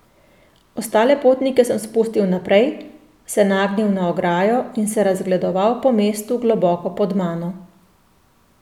Ostale potnike sem spustil naprej, se nagnil na ograjo in se razgledoval po mestu globoko pod mano.